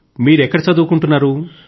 మీరు ఎక్కడ చదువుకుంటున్నారు